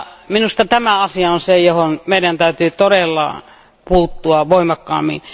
Minusta tämä asia on se, johon meidän täytyy todella puuttua voimakkaammin.